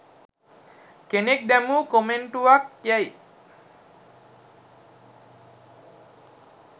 කෙනෙක් දැමූ කොමෙන්ටුවක් යැයි